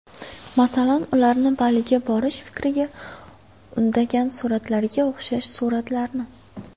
Masalan, ularni Baliga borish fikriga undagan suratlarga o‘xshash suratlarni.